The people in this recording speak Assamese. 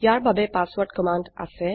ইয়াৰ বাবে পাছৱৰ্ৰদ কমান্ড আছে